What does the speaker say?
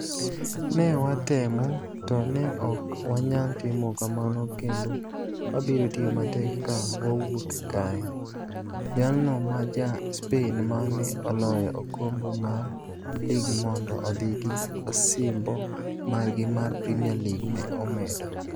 Ne watemo, to ne ok wanyal timo kamano kendo wabiro tiyo matek ka wawuok kae, " jalno ma Ja - Spain, ma ne oloyo okombe mar lig mondo odhi gi osimbo margi mar Premier League ne omedo.